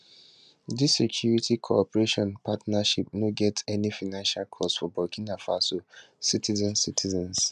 dis security cooperation partnerships no get any financial costs for burkina faso citizens citizens